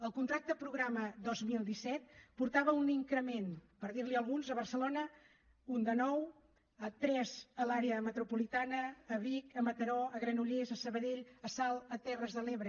el contracte programa dos mil disset portava un increment per dir ne alguns a barcelona un de nou tres a l’àrea metropolitana a vic a mataró a granollers a sabadell a salt a terres de l’ebre